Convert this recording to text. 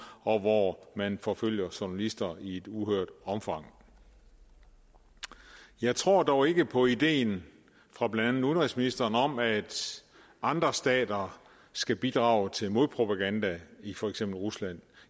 og hvor man forfølger journalister i et uhørt omfang jeg tror dog ikke på ideen fra blandt andet udenrigsministeren om at andre stater skal bidrage til modpropaganda i for eksempel rusland